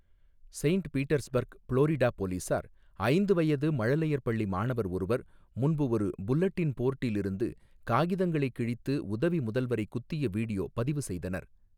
Saint Petersburg, Florida போலீசார் ஐந்து வயது மழலையர் பள்ளி மாணவர் ஒருவர் முன்பு ஒரு புல்லட்டின் போர்டில் இருந்து காகிதங்களை கிழித்து உதவி முதல்வரை குத்திய வீடியோ பதிவு செய்தனர்.